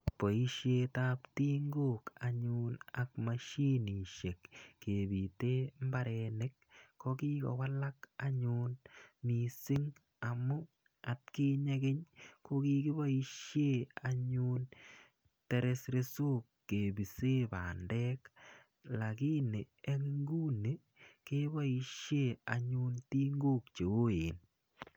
Poishet ap tingok anyun ak mashinishek kepite mbarenik ko kikowalak anyun missinh' amu atkinye keny ko kikipoishe anyun tereresok lakini eng' inguni kepoishe anyun tingok che oeen.